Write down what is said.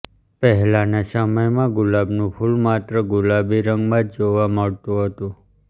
પહેલાના સમયમાં ગુલાબનું ફૂલ માત્ર ગુલાબી રંગમાં જ જોવા મળતું હતું